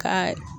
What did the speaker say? Ka